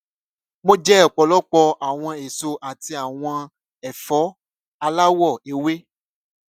mo jẹ ọpọlọpọ awọn eso ati awọn ẹfọ alawọ ewe